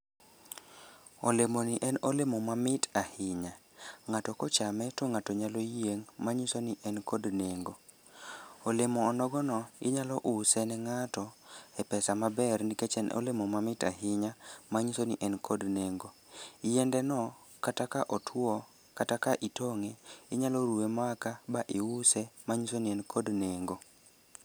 Olemoni en olemo mamit ahinya. Ng'ato kochame to ng'ato nyalo yieng' ,manyiso ni en kod nengo. Olemo onogono, inyalo use ne ng'ato e pesa maber nikech en olemo mait ahinta manyiso ni n kod nengo. Yiendeno kata ka otuwo kata ka itong'e, inyalo ruwe maka ba iuse, manyiso ni en kod nengo.